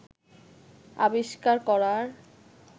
আবিষ্কার করার